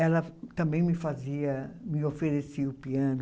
ela também me fazia, me oferecia o piano.